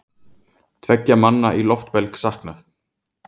Tveggja manna í loftbelg saknað